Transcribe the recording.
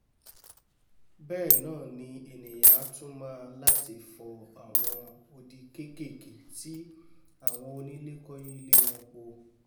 bẹ́ẹ̀ náàni ènìà á tún máa láti fo àwọn odi kékèké tí àwọn onílẹ̀ kọ́ yí ilẹ̀ wọn po